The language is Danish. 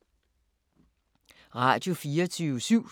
Radio24syv